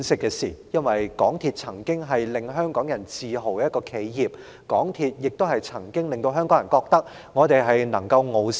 港鐵公司曾經是令香港人自豪的一間企業，亦曾令港人認為我們能夠傲視全球。